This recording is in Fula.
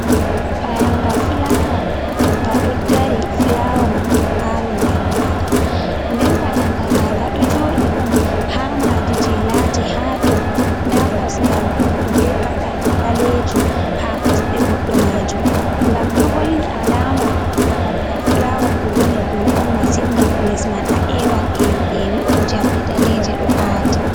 Payanga fulawa nga ɗo dari fulawa man do awi nder maga, nden payanga ga, ga ɗo joɗi on ha madi je lati ha dou nda kosgal goɗɗo be paɗal ɓalejum ha kosɗe goɗɗo majum, ngam ɗo holli alama babal gal fulawa ɗo woni dou on massin ngam les man a ewan ewi’ewi'on jamɗe daneje ɗo aati.